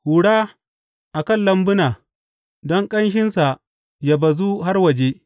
Hura a kan lambuna, don ƙanshinsa yă bazu har waje.